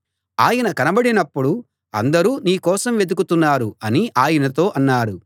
ఆయన కనబడినప్పుడు అందరూ నీ కోసం వెదుకుతున్నారు అని ఆయనతో అన్నారు